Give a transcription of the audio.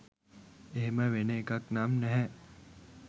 එහෙම වෙන එකක් නම් නැහැ.